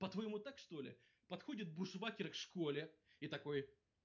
по-твоему так что ли подходят бушвакер школе и такой